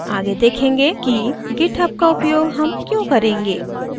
आगे देखेंगे की github का उपयोग हम क्यूँ करेंगे